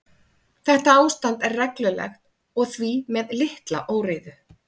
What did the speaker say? Þetta ástand er reglulegt og því með litla óreiðu.